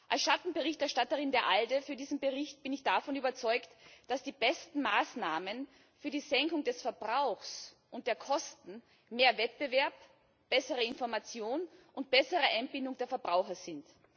Als Schattenberichterstatterin der ALDE für diesen Bericht bin ich davon überzeugt, dass die besten Maßnahmen für die Senkung des Verbrauchs und der Kosten mehr Wettbewerb, bessere Information und bessere Einbindung der Verbraucher sind.